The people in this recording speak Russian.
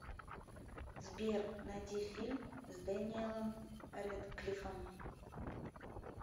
сбер найди фильм с дэниелом рэдклиффом